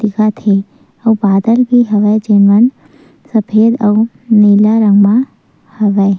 दिखत हे आऊ बादल भी हवय जेन मन सफ़ेद आऊ नीला रंग म हवय--